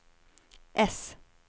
äss